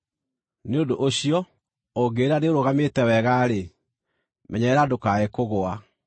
Nĩ ũndũ ũcio, ũngĩĩra nĩũrũgamĩte wega-rĩ, menyerera ndũkae kũgũa!